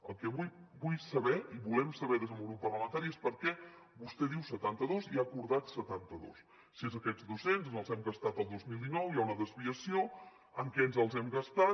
el que vull saber i volem saber des del meu grup parlamentari és per què vostè diu setanta dos i ha acordat setanta dos si són aquests dos cents ens els hem gastat el dos mil dinou hi ha una desviació en què ens els hem gastat